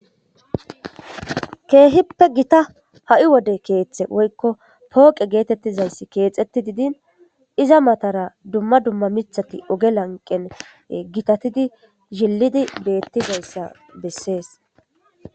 Keehippe gita ha7i wode keeththayka pooqe geetittizay keexettidi diin iza mata oge lanqera gita miththati gitatidi cililidi dizaysa bessees.